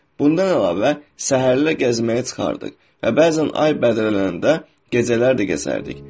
Bundan əlavə səhərlər gəzməyə çıxardıq və bəzən ay bədərələyəndə gecələr də gəzərdik.